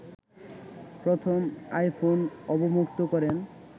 প্রথম আইফোন অবমুক্ত করেন